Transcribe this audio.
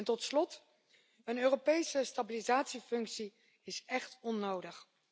Tot slot is een Europese stabilisatiefunctie echt onnodig.